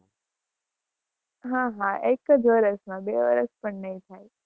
હા હા, એક જ વર્ષમાં, બે વર્ષ પણ નહિ થાય.